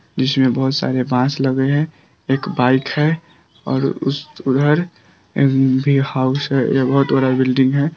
जिसमें बहुत सारे बांस लगे है एक बाइक है और उस उधर ए भी हाउस है ये बहुत बड़ा बिल्डिंग है।